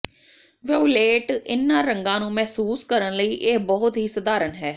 violet ਇਨ੍ਹਾਂ ਰੰਗਾਂ ਨੂੰ ਮਹਿਸੂਸ ਕਰਨ ਲਈ ਇਹ ਬਹੁਤ ਹੀ ਸਧਾਰਨ ਹੈ